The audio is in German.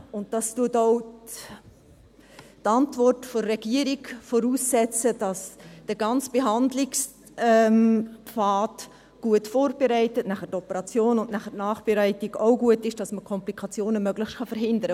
Zudem – dies setzt auch die Antwort der Regierung voraus – sollte der ganze Behandlungspfad gut vorbereitet und danach die Operation sowie anschliessend auch die Nachbereitung gut sein, um Komplikationen möglichst zu verhindern;